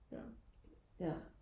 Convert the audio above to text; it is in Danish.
ja ja